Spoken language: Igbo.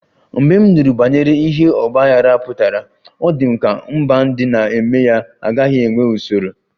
Mgbe m nụrụ banyere ihe ọgba aghara pụtara, ọ dị m ka mba ndị na-eme ya agaghị enwe usoro